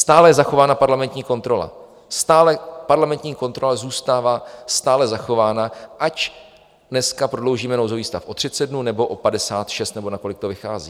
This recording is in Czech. Stále je zachována parlamentní kontrola, parlamentní kontrola zůstává stále zachována, ať dneska prodloužíme nouzový stav o 30 dnů, nebo o 56 nebo na kolik to vychází.